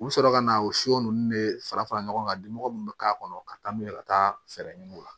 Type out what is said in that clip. U bɛ sɔrɔ ka na o so ninnu de fara fara fara ɲɔgɔn kan dimɔgɔ minnu bɛ k'a kɔnɔ ka taa n'u ye ka taa fɛɛrɛ ɲini u la